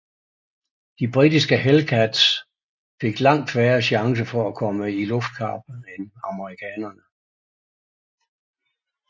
De britiske Hellcats fik langt færre chancer for at komme i luftkamp end amerikanerne